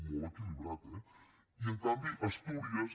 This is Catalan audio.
molt equilibrat eh i en canvi a astúries